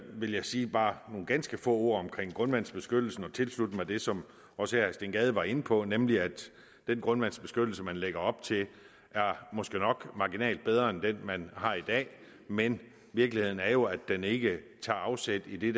vil jeg sige bare nogle ganske få ord om grundvandsbeskyttelsen og tilslutte mig det som også herre steen gade var inde på nemlig at den grundvandsbeskyttelse man lægger op til måske nok er marginalt bedre end den man har i dag men virkeligheden er jo at den ikke tager afsæt i det